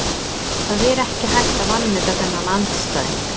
Það er ekki hægt að vanmeta þennan andstæðing.